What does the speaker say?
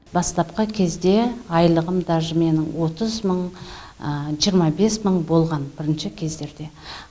бастапқы кезде айлығым даже менің отыз мың жиырма бес мың болған бірінші кездерде